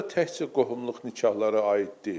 Bura təkcə qohumluq nikahları aid deyil.